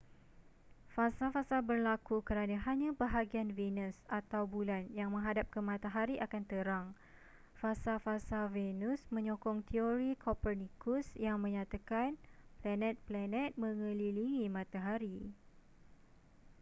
fasa-fasa berlaku kerana hanya bahagian venusatau bulan yang menghadap ke matahari akan terang. fasa-fasa venus menyokong terori copernicus yang menyatakan panet-planet mengelilingi matahari